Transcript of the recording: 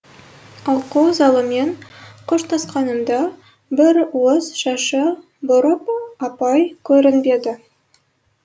оқу залымен қоштасқанымда бір уыс шашы бурыл апай көрінбеді